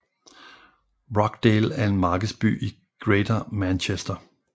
Rochdale er en markedsby i Greater Manchester